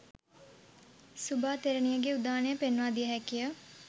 සුභා තෙරණියගේ උදානය පෙන්වා දිය හැකි ය.